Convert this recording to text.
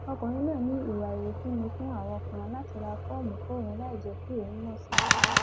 ọkùnrin náà ní ìwà àrífín ni fún àwọn kan láti ra fọọmù fóun láì jẹ kí òun mọ sí i